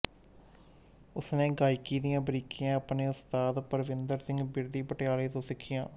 ਉਸਨੇ ਗਾਇਕੀ ਦੀਆਂ ਬਾਰੀਕੀਆਂ ਆਪਣੇ ਉਸਤਾਦ ਪਰਵਿੰਦਰ ਸਿੰਘ ਬਿਰਦੀ ਪਟਿਆਲਾ ਤੋਂ ਸਿੱਖੀਆਂ